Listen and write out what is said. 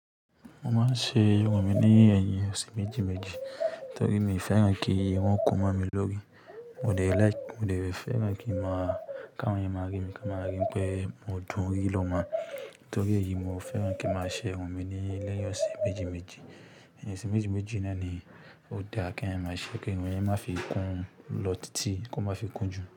Mo máa ń ṣe irun mi ní ẹ̀yìn ọ̀sẹ̀ méjì méjì torí mi ò fẹ́ràn kí irun kún mó mi lórí. Mo dè fẹ́ràn kí máa káwọn èèyàn máa rí mi ka máa rí mi pé mo dùn rí lọ́mọ. Nítorí èyí, mo fẹ́ràn kí máa ṣe irun mi ní lẹ́yìn ọ̀sẹ̀ méjì méjì. Ọ̀sẹ̀ méjì méjì náà ni ó dáa kí ẹ́ máa ṣe kí irun yẹn má fi kún lọ títí kí ó má fi kún jù.